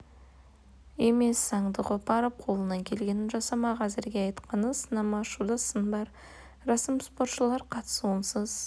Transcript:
емес заңды қопарып қолынан келгенін жасамақ әзірге айтқаны сынама ашуда сын бар рәсім спортшылар қатысуынсыз